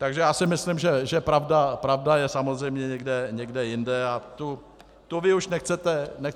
Takže já si myslím, že pravda je samozřejmě někde jinde a tu vy už nechcete říct.